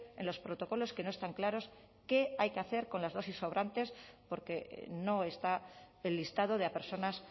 en los protocolos que no están claros qué hay que hacer con las dosis sobrantes porque no está el listado de personas